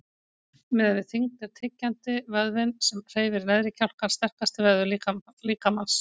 Miðað við þyngd er tyggjandi, vöðvinn sem hreyfir neðri kjálkann, sterkasti vöðvi líkamans.